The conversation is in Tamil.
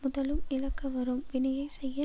முதலும் இழக்க வரும் வினையை செய்ய